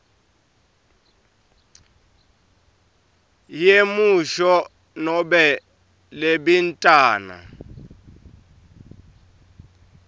yemusho nobe libintana